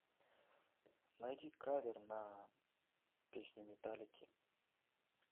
найди кавер на песню металлики